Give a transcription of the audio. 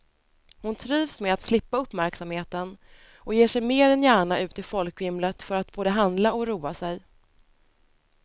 Hon trivs med att slippa uppmärksamheten och ger sig mer än gärna ut i folkvimlet för att både handla och roa sig.